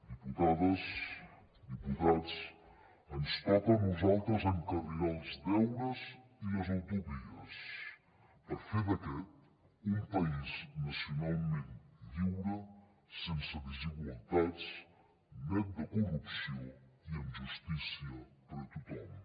diputades diputats ens toca a nosaltres encarrilar els deures i les utopies per fer d’aquest un país nacionalment lliure sense desigualtats net de corrupció i amb justícia per a tothom